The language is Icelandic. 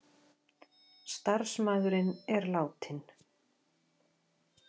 Starfsmaðurinn er látinn